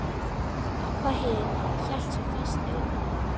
Abba hin hélt svo fast utan um hann.